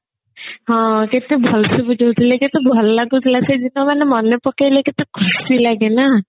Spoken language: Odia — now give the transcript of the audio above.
ହଁ କେତେ ଭଲସେ ବୁଝୋଉଥିଲେ କେତେ ଭଲ ଲାଗୁଥିଲା ସେ ଦିନ ମାନେ ମନେ ପକେଇଲେ କେତେ ଖୁସି ଲାଗେ ନା